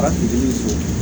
A bi se